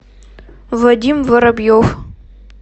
вадим воробьев